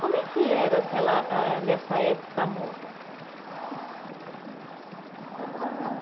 Como é que era aquela ah nessa época a moda? Ah